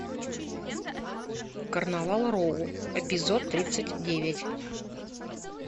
карнавал роу эпизод тридцать девять